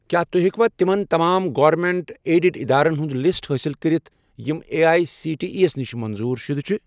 کیٛاہ تُہۍ ہیٚکوا یِمَن تمام گورمیٚنٛٹ ایڈِڈ ادارن ہُنٛد لسٹ حٲصِل کٔرِتھ یِم A I C T E نِش منظوٗر شُدٕ چھِ؟